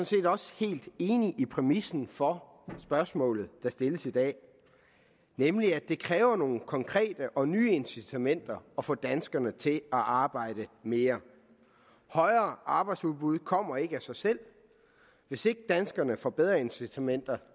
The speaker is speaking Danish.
set også helt enig i præmissen for spørgsmålet der stilles i dag nemlig at det kræver nogle konkrete og nye incitamenter at få danskerne til at arbejde mere højere arbejdsudbud kommer ikke af sig selv hvis ikke danskerne får bedre incitamenter